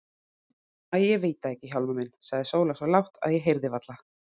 Æi, ég veit það ekki Hjálmar minn, sagði Sóla svo lágt, að ég heyrði varla.